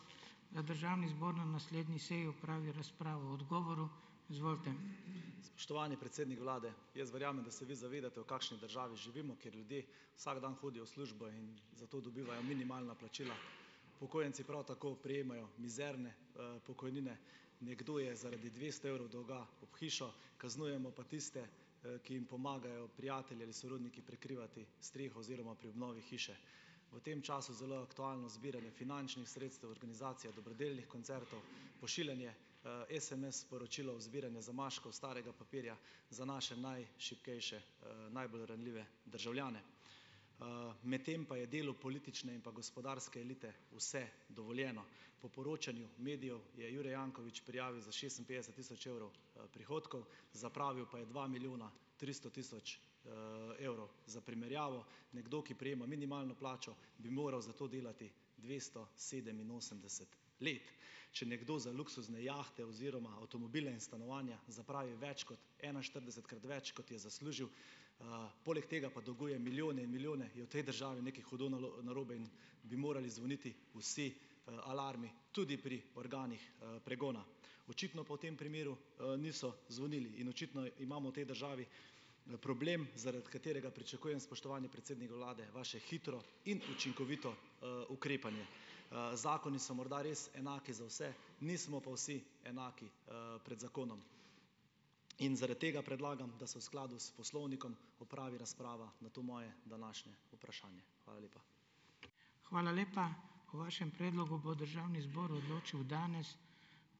Spoštovani predsednik vlade, jaz verjamem, da se vi zavedate, v kakšni državi živimo, ker ljudje vsak dan hodijo v službo in za to dobivajo minimalna plačila. prav tako prejemajo mizerne, pokojnine. Nekdo je zaradi dvesto evrov dolga ob hišo, kaznujemo pa tiste, ki jim pomagajo prijatelji ali sorodniki prekrivati streho oziroma pri obnovi hiše. V tem času zelo aktualno zbiranje finančnih sredstev, organizacija dobrodelnih koncertov, pošiljanje, SMS-sporočil, zbiranje zamaškov, starega papirja za naše najšibkejše, najbolj ranljive državljane. Medtem pa je delu politične in pa gospodarske elite vse dovoljeno. Po poročanju medijev je Jure Janković prijavil za šestinpetdeset tisoč evrov, prihodkov, zapravil pa je dva milijona tristo tisoč, evrov. Za primerjavo, nekdo, ki prejema minimalno plačo, bi moral za to delati dvesto sedeminosemdeset let. Če nekdo za luksuzne jahte oziroma avtomobile in stanovanja zapravi več kot enainštiridesetkrat več, kot je zaslužil, poleg tega pa dolguje milijone in milijone, je v tej državi nekaj hudo narobe in bi morali zvoniti vsi, alarmi, tudi pri organih, pregona. Očitno pa v tem primeru, niso zvonili in očitno imamo v tej državi problem, zaradi katerega pričakujem, spoštovani predsednik vlade, vaše hitro in učinkovito, ukrepanje. Zakoni so morda res enaki za vse, nismo pa vsi enaki, pred zakonom. In zaradi tega predlagam, da se v skladu s poslovnikom opravi razprava na to moje današnje vprašanje. Hvala lepa.